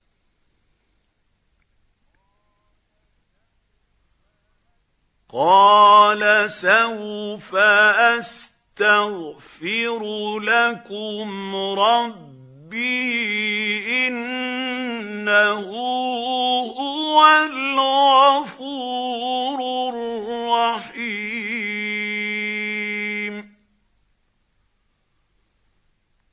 قَالَ سَوْفَ أَسْتَغْفِرُ لَكُمْ رَبِّي ۖ إِنَّهُ هُوَ الْغَفُورُ الرَّحِيمُ